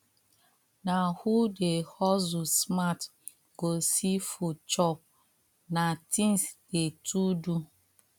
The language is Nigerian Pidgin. na who dey hustle smart go see food chop na things dey to do